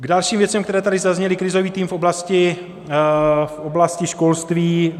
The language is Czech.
K dalším věcem, které tady zazněly - krizový tým v oblasti školství.